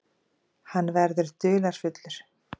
Hann verður dularfullur.